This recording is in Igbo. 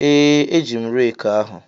Ee, eji m reeki ahụ.